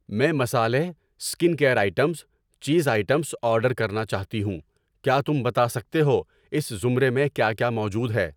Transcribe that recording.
میں مصالحے, skin care items, cheese items order کرنا چاہتی ہوں، کیا تم بتا سکتے ہو اس زمرے میں کیا کیا موجود ہے؟